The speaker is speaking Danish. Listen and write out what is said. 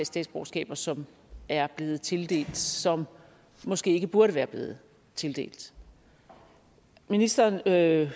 statsborgerskaber som er blevet tildelt som måske ikke burde være blevet tildelt ministeren sagde